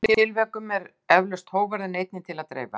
Í sumum tilvikum er eflaust hógværðinni einni til að dreifa.